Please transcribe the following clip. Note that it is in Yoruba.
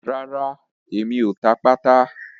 Rárá, mi ò ta pátà.